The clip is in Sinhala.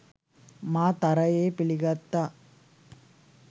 මා තරයේ පිළිගත්තා.